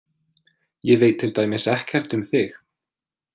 Ég veit til dæmis ekkert um þig.